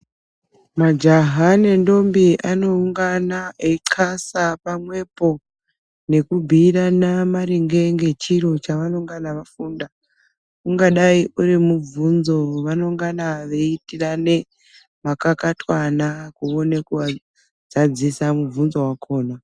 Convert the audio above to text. Majaha nentombi anoungana eyi casa pamwepo nekubhiirana maringe ngechiro chavanongana vafunda ungadai urimubvunzo wavanongan veyiitirane makakatanwa kuone kuzadzisa mubvunzo wakona.